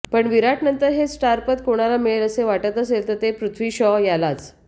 पण विराटनंतर हे स्टारपद कोणाला मिळेल असे वाटत असेल तर ते पृथ्वी शॉ यालाच